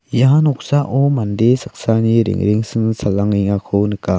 ia noksao mande saksani rengrengsil salangengako nika.